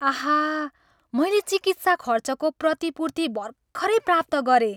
आहा! मैले चिकित्सा खर्चको प्रतिपूर्ति भर्खरै प्राप्त गरेँ।